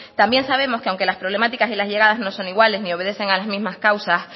también sabemos que aunque las problemáticas y las llegadas no son iguales ni obedecen a las mismas causas